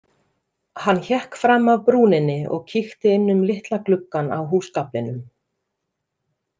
Hann hékk fram af brúninni og kíkti inn um litla gluggann á húsgaflinum.